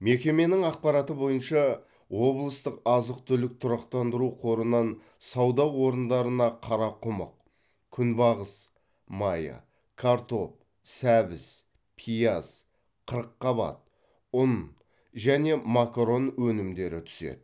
мекеменің ақпараты бойынша облыстық азық түлік тұрақтандыру қорынан сауда орындарына қарақұмық күнбағыс майы картоп сәбіз пияз қырыққабат ұн және макарон өнімдері түседі